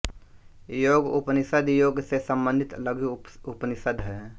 योग उपनिषद योग से सम्बन्धित लघु उपनिषद हैं